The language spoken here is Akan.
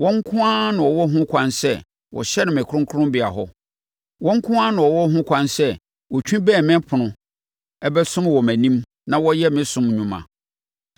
Wɔn nko ara na wɔwɔ ho ɛkwan sɛ wɔhyɛne me kronkronbea hɔ; wɔn nko ara na wɔwɔ ho ɛkwan sɛ wɔtwi bɛn me ɛpono, bɛsom wɔ mʼanim na wɔyɛ me som nnwuma.